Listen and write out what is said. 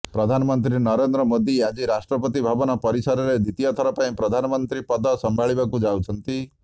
ପ୍ରଧାନମନ୍ତ୍ରୀ ନରେନ୍ଦ୍ର ମୋଦି ଆଜି ରାଷ୍ଟ୍ରପତି ଭବନ ପରିସରରେ ଦ୍ୱିତୀୟଥର ପାଇଁ ପ୍ରଧାନମନ୍ତ୍ରୀ ପଦ ସମ୍ଭାଳିବାକୁ ଯାଉଛନ୍ତି